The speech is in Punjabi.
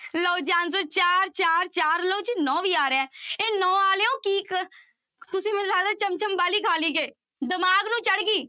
ਲਓ ਜੀ answer ਚਾਰ, ਚਾਰ, ਚਾਰ ਲਓ ਜੀ ਨੋਂ ਵੀ ਆ ਰਿਹਾ ਹੈ, ਇਹ ਨੋਂ ਵਾਲਿਓ ਕੀ ਕ ਤੁਸੀਂ ਮੈਨੂੰ ਲੱਗਦਾ ਚਮਚਮ ਬਾਹਲੀ ਖਾ ਲਈ ਕਿ ਦਿਮਾਗ ਨੂੰ ਚੜ੍ਹ ਗਈ।